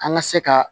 An ka se ka